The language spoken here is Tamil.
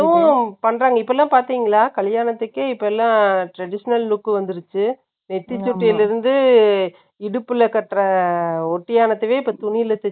இப்பெல்லாம் பாத்தீங்களா? கல்யாணத்துக்கே இப்பல்லாம் traditional look வந்துருச்சு. நெத்தி சுட்டியில இருந்து, இடுப்புல கட்டுற ஒட்டியானத்தவே, இப்ப துணியில தேச்சு,